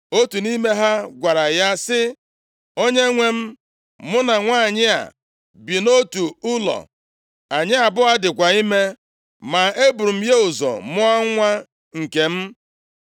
Otu nʼime ha gwara ya sị, “Onyenwe m, mụ na nwanyị a bi nʼotu ụlọ. Anyị abụọ dịkwa ime. Ma eburu m ya ụzọ mụọ nwa nke m.